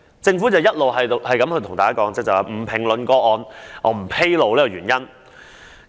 政府只是一直表示不評論個案和不披露原因。